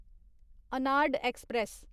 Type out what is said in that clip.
Arnad express